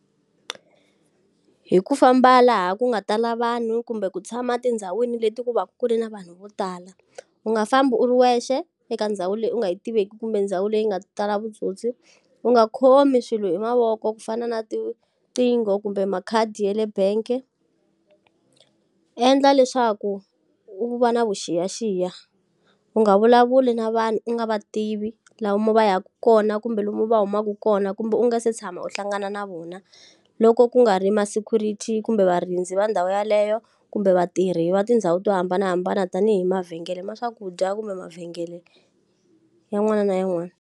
Hi ku famba laha ku nga tala vanhu kumbe ku tshama tindhawini leti ku va ku ri na vanhu vo tala. U nga fambi u ri wexe eka ndhawu leyi u nga yi tiveki kumbe ndhawu leyi nga tala vutsotsi. U nga khomi swilo hi mavoko ku fana na tinqingho kumbe makhadi ya le bangi, endla leswaku u va na vuxiyaxiya. U nga vulavuli na vanhu u nga va tivi lomu va yaka kona kumbe lomu va humaka kona kumbe u nga se tshama u hlangana na vona, loko ku nga ri ma-security kumbe varindzi va ndhawu yeleyo. Kumbe vatirhi va tindhawu to hambanahambana tanihi mavhengele ma swakudya kumbe mavhengele yin'wana na yin'wana.